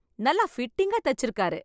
நல்லா பிட்டிங்கா தெச்சிருக்கார்.